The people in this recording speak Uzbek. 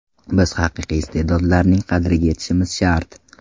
Biz haqiqiy iste’dodlarning qadriga yetishimiz shart.